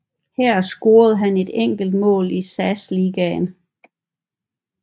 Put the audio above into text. Her scorede han et enkelt mål i SAS Ligaen